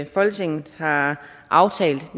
folketinget har aftalt